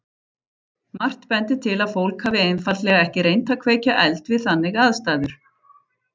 Margt bendir til að fólk hafi einfaldlega ekki reynt að kveikja eld við þannig aðstæður.